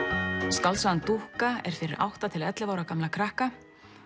skáldsagan dúkka er fyrir átta til ellefu ára gamla krakka